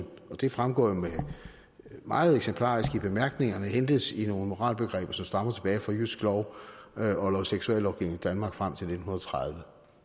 det fremgår jo meget eksemplarisk af bemærkningerne hentes i nogle moralbegreber som stammer tilbage fra jyske lov og noget seksuallovgivning i danmark frem til nitten tredive